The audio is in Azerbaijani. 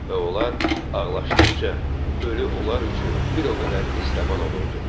Və onlar ağlaşdıqca ölü onlar üçün bir o qədər estəban olurdu.